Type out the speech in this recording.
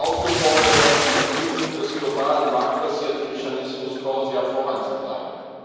aufgefordert, die Entwicklung des globalen marktbasierten Mechanismus CORSIA voranzutreiben.